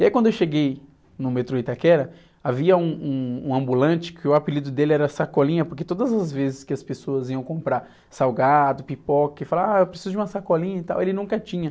E aí quando eu cheguei no metrô Itaquera, havia um, um, um ambulante que o apelido dele era Sacolinha, porque todas as vezes que as pessoas iam comprar salgado, pipoca, e falavam, ah, eu preciso de uma sacolinha e tal, ele nunca tinha.